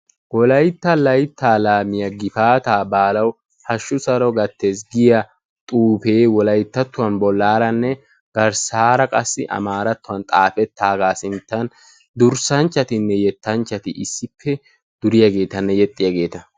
Wolaytta layttaa laamiyaa gifaataa baalawu hashshu saro gattees giyaa xuufee wolayttattuwaan bollaaranne garssaara qassi amaarattuwaan xaafettagaa sinttan durssanchatinne yettachchati issippe duriyaagetanne yexxiyaageta.